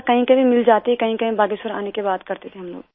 sir कहींकहीं मिल जाती कहींकहीं बागेश्वर आने के बाद करते थे हम लोग